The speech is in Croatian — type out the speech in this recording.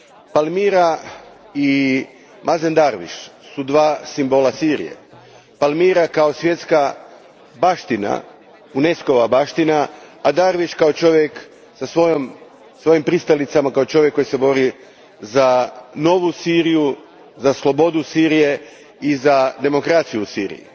Palmira i Mazen Darwish su dva simbola Sirije, Palmira kao svjetska baština, UNESCO ova baština, a Darwish kao čovjek sa svojim pristalicama, kao čovjek koji se bori za novu Siriju, za slobodu Sirije i za demokraciju u Siriji.